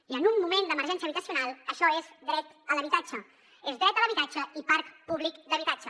i en un moment d’emergència habitacional això és el dret a l’habitatge és dret a l’habitatge i parc públic d’habitatge